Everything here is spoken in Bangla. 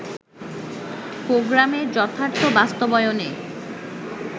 প্রোগ্রামের যথার্থ বাস্তবায়নে